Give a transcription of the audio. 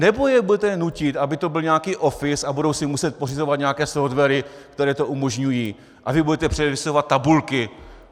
Nebo je budete nutit, aby to byl nějaký Office a budou si muset pořizovat nějaké softwary, které to umožňují, a vy budete předepisovat tabulky?